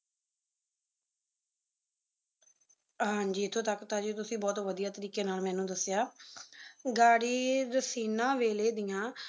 ਹਾਂਜੀ ਇਥੋ ਤਕ ਤਾਂ ਜੀ ਤੁਸੀਂ ਬੋਹਤ ਵਧਿਆ ਤਰੀਕ਼ੇ ਨਾਲ ਮੇਨੂ ਦਸਿਆ ਗਾਡੀਜ ਫ਼ਨਾ ਵੇਲੇ ਦੀਆ